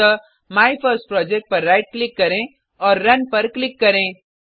अतः माइफर्स्टप्रोजेक्ट पर right click करें और रुन पर क्लिक करें